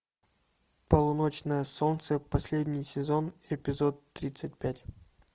полуночное солнце последний сезон эпизод тридцать пять